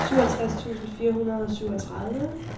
syvogtres tusind fire hundrede og syvogtredive